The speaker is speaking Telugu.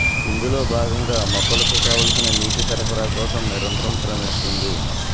ఇందులో భాగంగా మొక్కలకు కావాల్సిన నీటి సరఫరా కోసం నిరంతరం శ్రమిస్తోంది